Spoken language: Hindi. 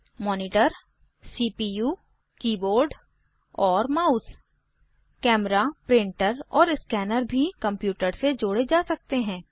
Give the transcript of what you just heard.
मॉनिटर सीपीयू कीबोर्ड और माउस कैमरा प्रिंटर और स्कैनर भी कंप्यूटर से जोड़े जा सकते हैं